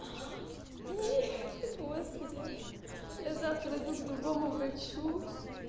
нет господи я завтра иду к другому врачу